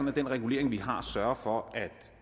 at den regulering vi har sørger for at